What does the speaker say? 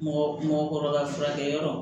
Mɔgɔ mɔgɔkɔrɔba furakɛyɔrɔ